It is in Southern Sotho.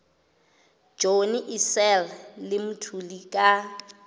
johnny issel le mthuli ka